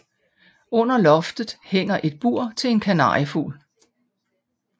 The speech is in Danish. Under loftet hænger et bur til en kanariefugl